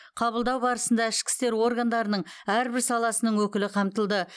қабылдау барысында ішкі істер органдарының әрбір саласының өкілі қамтылды